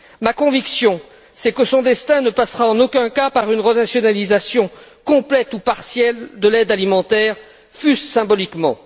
Ma conviction est que son destin ne passera, en aucun cas, par une renationalisation complète ou partielle de l'aide alimentaire, fût ce symboliquement.